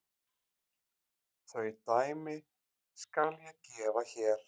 Þau dæmi skal ég gefa hér.